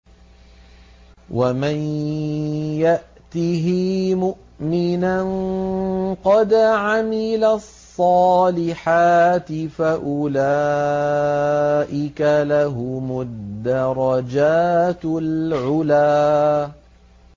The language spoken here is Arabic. وَمَن يَأْتِهِ مُؤْمِنًا قَدْ عَمِلَ الصَّالِحَاتِ فَأُولَٰئِكَ لَهُمُ الدَّرَجَاتُ الْعُلَىٰ